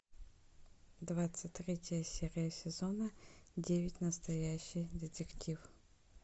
двадцать третья серия сезона девять настоящий детектив